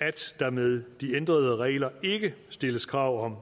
at der med de ændrede regler ikke stilles krav om